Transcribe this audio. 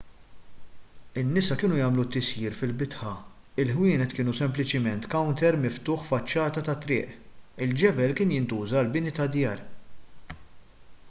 in-nisa kienu jagħmlu t-tisjir fil-bitħa il-ħwienet kienu sempliċiment kawnter miftuħ faċċata tat-triq il-ġebel kien jintuża għall-bini tad-djar